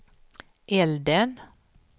elden